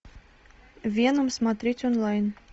веном смотреть онлайн